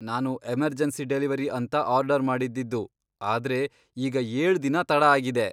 ನಾನು emergency delivery ಅಂತ order ಮಾಡಿದ್ದಿದ್ದು ಆದ್ರೆ ಈಗ ಏಳ್ ದಿನ ತಡ ಆಗಿದೆ.